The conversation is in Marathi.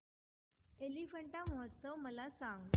एलिफंटा महोत्सव मला सांग